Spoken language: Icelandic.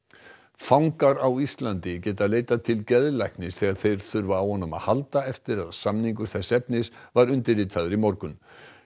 fangar á Íslandi geta leitað til geðlæknis þegar þeir þurfa á honum að halda eftir að samningur þess efnis var undirritaður í morgun